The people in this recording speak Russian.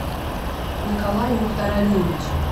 николай мухтаралиевич